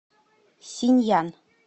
синьян